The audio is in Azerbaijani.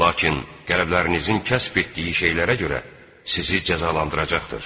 Lakin qəlblərinizin kəsb etdiyi şeylərə görə sizi cəzalandıracaqdır.